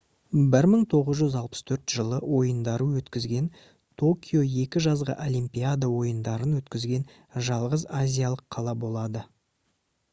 1964 жылы ойындарды өткізген токио 2 жазғы олимпиада ойындарын өткізген жалғыз азиялық қала болады